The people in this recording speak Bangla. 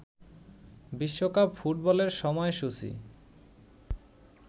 বিশ্বকাপ ফুটবলের সময়সূচি